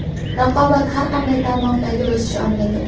Raqobat – har qanday tarmoqdagi o‘sish omilidir.